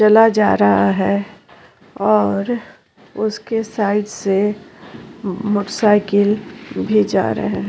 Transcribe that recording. चला जा रहा है और उसके साइड से मोट साईकिल भी जा रहा है।